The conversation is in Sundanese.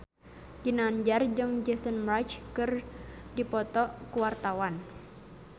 Ginanjar jeung Jason Mraz keur dipoto ku wartawan